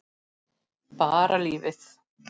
Bara lífið.